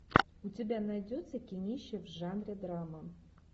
у тебя найдется кинище в жанре драма